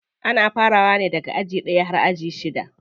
Ana farawa ne daga aji ɗaya har zuwa aji shida.